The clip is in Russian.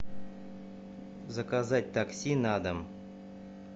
заказать такси на дом